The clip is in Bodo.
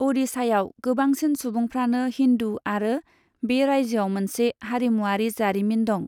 अ'डिशायाव गोबांसिन सुबुंफ्रानो हिन्दू आरो बे रायजोआव मोनसे हारिमुआरि जारिमिन दं।